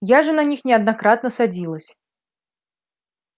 я же на них неоднократно садилась